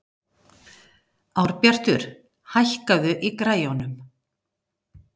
Árbjartur, hækkaðu í græjunum.